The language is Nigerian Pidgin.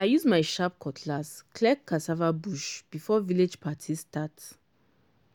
i use my sharp cutlass clear cassava bush before village party start